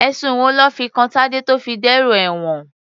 Ẹ̀sùn wo lọ́ fi kan Tadé tó fi dèrò ẹ̀wọ̀n?